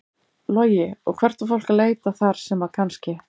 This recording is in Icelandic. Logi: Og hvert á fólk að leita þar sem að kannski?